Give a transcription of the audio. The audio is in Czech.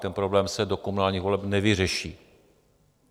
Ten problém se do komunálních voleb nevyřeší.